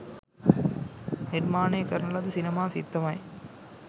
නිර්මාණය කරන ලද සිනමා සිත්තමයි